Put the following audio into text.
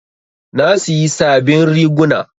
Na siyi sabin riguna